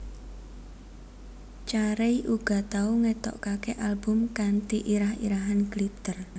Carey uga tau ngetokake album kanthi irah irahan Glitter